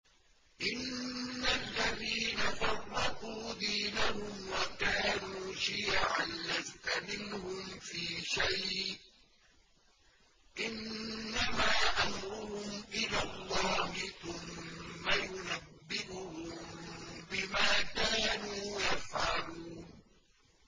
إِنَّ الَّذِينَ فَرَّقُوا دِينَهُمْ وَكَانُوا شِيَعًا لَّسْتَ مِنْهُمْ فِي شَيْءٍ ۚ إِنَّمَا أَمْرُهُمْ إِلَى اللَّهِ ثُمَّ يُنَبِّئُهُم بِمَا كَانُوا يَفْعَلُونَ